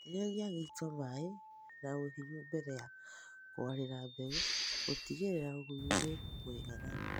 Itĩrĩria gĩito maĩĩ na ũhinyu mbere ya kũarĩra mbegũ gũtigĩrĩra ũgunyu nĩ mũiganu